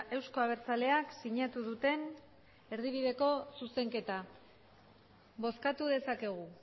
euzko abertzaleak sinatu duten erdibideko zuzenketa bozkatu dezakegu